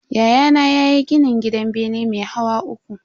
Yayana ya gini gidan bene mai hawa uku.